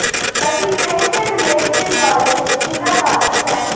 ਅਸੀਂ ਪੈਂਟ ਦੇ ਬੈਲਟ ਦੇ ਦੁਆਲੇ ਲਚਕੀਲਾ ਪਾ ਦਿੱਤਾ